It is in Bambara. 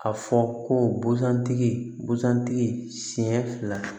A fɔ ko busan tigi busan tigi sen fila